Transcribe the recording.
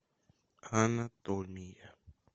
анатомия